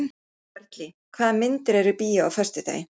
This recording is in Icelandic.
Sörli, hvaða myndir eru í bíó á föstudaginn?